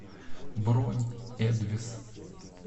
бронь эдвис